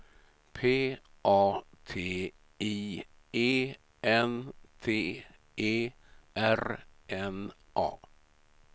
P A T I E N T E R N A